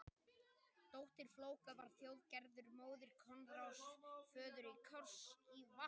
Dóttir Flóka var Þjóðgerður, móðir Koðráns, föður Kárs í Vatnsdal.